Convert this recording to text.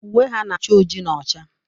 Uwe ha na-acha oji na ọcha.